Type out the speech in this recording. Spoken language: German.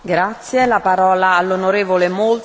Frau Präsidentin, Hohe Beauftragte!